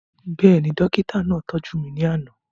Bẹ́ẹ̀ni, dókítà náà tọ́jú mi ní àná